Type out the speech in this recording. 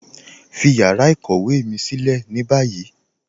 Fí yàrá ìkọ̀wé mi silẹ̀ ní báyì